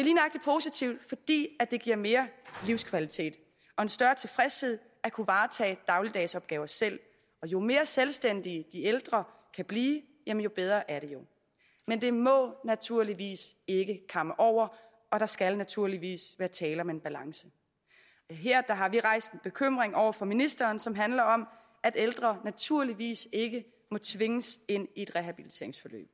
er det giver mere livskvalitet og større tilfredshed at kunne varetage dagligdagsopgaver selv og jo mere selvstændige de ældre kan blive jo bedre er det jo men det må naturligvis ikke kamme over og der skal naturligvis være tale om en balance her har vi rejst en bekymring over for ministeren som handler om at ældre naturligvis ikke må tvinges ind i et rehabiliteringsforløb